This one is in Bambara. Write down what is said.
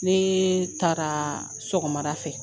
Nee taara sɔgɔmada fɛ